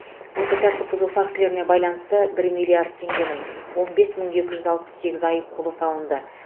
осы тәртіп бұзу фактілеріне байланысты бір миллиард теңгенің он бес мың екі жүз алпыс сегіз айыппұлы салынды